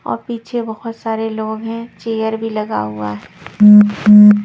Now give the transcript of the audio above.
और पीछे बहुत सारे लोग हैं चेयर भी लगा हुआ है।